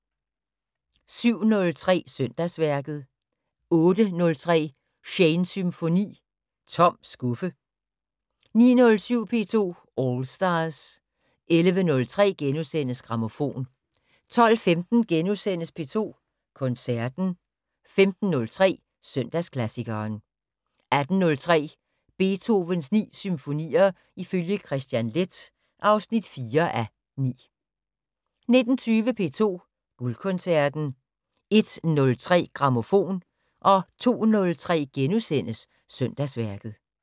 07:03: Søndagsværket 08:03: Shanes Symfoni - Tom skuffe 09:07: P2 All Stars 11:03: Grammofon * 12:15: P2 Koncerten * 15:03: Søndagsklassikeren 18:03: Beethovens 9 symfonier ifølge Kristian Leth (4:9) 19:20: P2 Guldkoncerten 01:03: Grammofon 02:03: Søndagsværket *